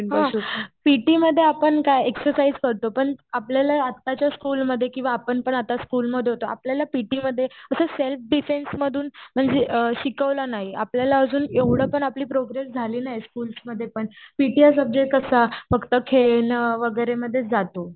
हो पिटी मध्ये आपण काय एक्सरसाईझ करतो पण आपल्याला आत्ताच्या स्कूल मध्ये किवा आपण पण आता स्कूलमध्ये होततो आपल्याला पीटीमध्ये तर सेल्फ डिफेन्समधून म्हणजे शिकवलेल नाही. आपल्याला अजून एवढं पण आपली प्रोग्रेस झालेली नाही स्कूलमध्ये पण पिटी हा सब्जेक्ट कसा फक्त खेळणं वगैरेमध्ये जात.